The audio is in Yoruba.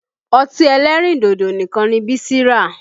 Ọtí ẹlẹ́rìndòdò nìkan ni Bísí rà